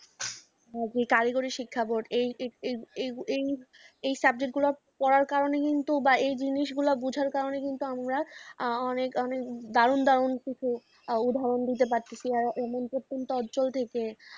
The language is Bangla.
কারিগরি শিক্ষা বোর্ড এই, এই, এই, এই সাবজেক্টগুলো পড়ার কারণে কিন্তু এই জিনিসগুলো বোঝার কারণে কিন্তু আমরা অনেক দারুণ দারুণ কিছু। উদাহরণ দিতে পারছি না এমন কোনও অঞ্চল থেকে